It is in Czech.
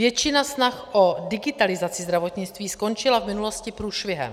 Většina snah o digitalizaci zdravotnictví skončila v minulosti průšvihem.